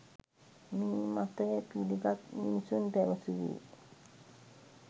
මේ මතය පිළිගත් මිනිසුන් පැවසුවේ